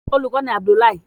Olùkó ni Abdullahi.